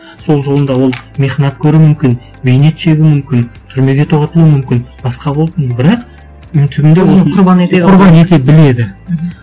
сол жолында ол мехнат көруі мүмкін бейнет шегуі мүмкін түрмеге тоғытылуы мүмкін басқа бірақ оның түбінде құрбан ете біледі мхм